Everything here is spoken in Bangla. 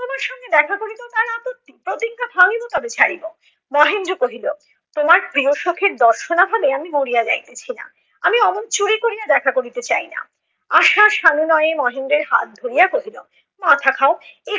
প্রতিজ্ঞা ভাঙ্গিব তবে ছাড়িব । মহেন্দ্র কহিল তোমার প্রিয় সখির দর্শনা না হলে আমি মরিয়া যাইতেছি না, আমি অমন চুরি করিয়া দেখা করিতে চাইনা। আশা সানুনয়ে মহেন্দ্রের হাত ধরিয়া কহিল মাথা খাও